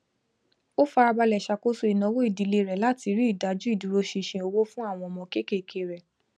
ó farabalẹ ṣàkóso ìnáwó ìdílé rẹ láti rí ìdaju ìdúró ṣinṣin owó fún àwọn ọmọ kéékèèké rẹ